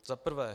Za prvé.